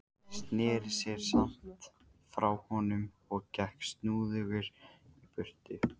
Sneri sér samt frá honum og gekk snúðugur í burtu.